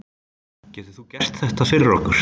Getur þú gert þetta fyrir okkur?